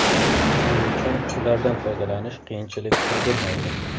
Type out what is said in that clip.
Shuning uchun ulardan foydalanish qiyinchilik tug‘dirmaydi.